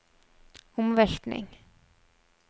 omveltning